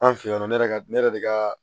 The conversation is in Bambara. An fe yen nɔ ne yɛrɛ ka ne yɛrɛ de ka